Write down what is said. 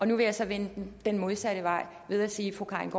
nu vil jeg så vende det den modsatte vej ved at sige at fru karin